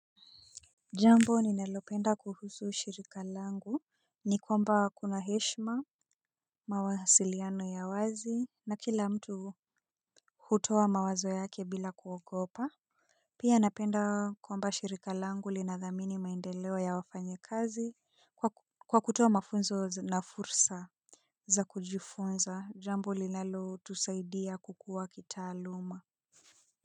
Jambo ni nalopenda kuhusu shirika langu ni kwamba kuna heshma mawasiliano ya wazi na kila mtu hutowa mawazo yake bila kuogopa. Pia napenda kwamba shirika langu linadhamini maendeleo ya wafanye kazi kwa kutoa mafunzo na fursa za kujifunza jambo linalo tusaidia kukuwa kitaaluma.